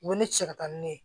U bɛ ne cɛ ka taa ni ne ye